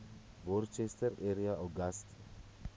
worcester area uagasti